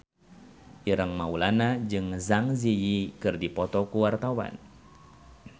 Ireng Maulana jeung Zang Zi Yi keur dipoto ku wartawan